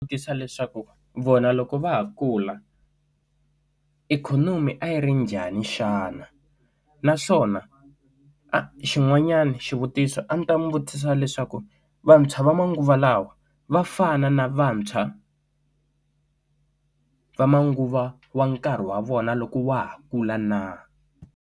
Vutisa leswaku vona loko va ha kula ikhonomi a yi ri njhani xana naswona a xin'wanyana xivutiso a ndzi ta n'wi vutisa leswaku vantshwa va manguva lawa vafana na vantshwa va manguva wa nkarhi wa vona loko wa ha kula na.